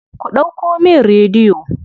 Ku ɗauko min rediyo.